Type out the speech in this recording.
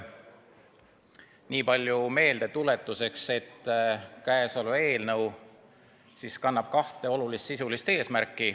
Nii palju meeldetuletuseks, et käesolev eelnõu kannab kahte olulist sisulist eesmärki.